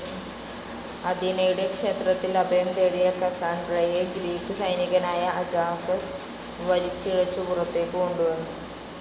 അഥീനയുടെ ക്ഷേത്രത്തിൽ അഭയം തേടിയ കസാൻഡ്രയെ ഗ്രീക്ക് സൈനികനായ അജാക്സ് വലിച്ചിഴച്ചു പുറത്തേക്ക് കൊണ്ടുവന്നു.